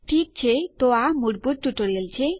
ઠીક છે તો આ મૂળભૂત ટ્યુટોરીયલ છે